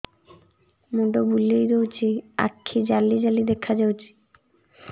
ମୁଣ୍ଡ ବୁଲେଇ ଦଉଚି ଆଖି ଜାଲି ଜାଲି ଦେଖା ଯାଉଚି